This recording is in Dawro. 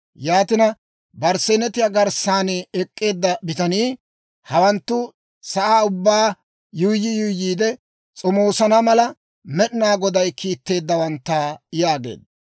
«Yaatina, barsseenetiyaa garssan ek'k'eedda bitanii, Hawanttu sa'aa ubbaa yuuyyi yuuyyiide s'omoosana mala, Med'inaa Goday kiitteeddawantta yaageedda.